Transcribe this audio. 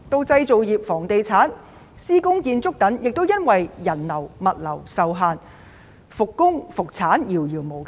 製造業、房地產、施工建築等亦由於人流物流受限，復工、復產遙遙無期。